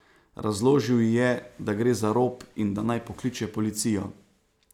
Razložil ji je, da gre za rop in da naj pokliče policijo.